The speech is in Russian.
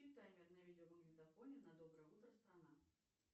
таймер на видеомагнитофоне на доброе утро страна